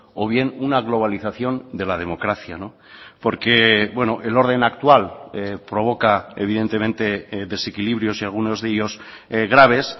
o bien una globalización de la democracia porque el orden actual provoca evidentemente desequilibrios y algunos de ellos graves